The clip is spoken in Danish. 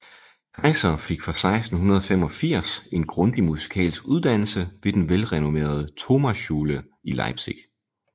Keiser fik fra 1685 en grundig musikalsk uddannelse ved den velrenommerede Thomasschule i Leipzig